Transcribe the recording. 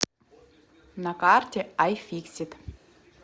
на карте айфиксит